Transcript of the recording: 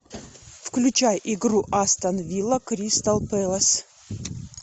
включай игру астон вилла кристал пэлас